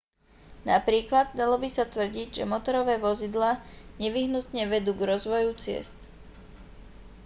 napríklad dalo by sa tvrdiť že motorové vozidlá nevyhnutne vedú k rozvoju ciest